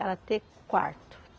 Era ter quarto.